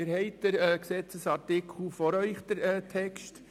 Sie haben den Gesetzesartikel vor sich.